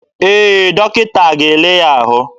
Ee, dọkịta ga-ele ya ahụ.